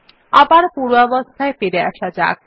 আবার পূর্বাবস্থায় ফিরে আসা যাক